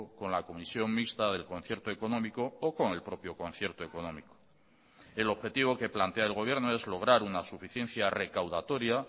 con la comisión mixta del concierto económico o con el propio concierto económico el objetivo que plantea el gobierno es lograr una suficiencia recaudatoria